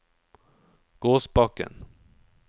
Gåsbakken